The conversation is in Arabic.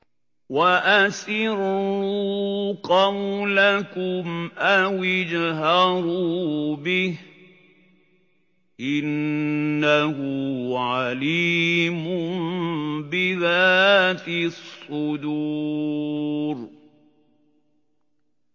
وَأَسِرُّوا قَوْلَكُمْ أَوِ اجْهَرُوا بِهِ ۖ إِنَّهُ عَلِيمٌ بِذَاتِ الصُّدُورِ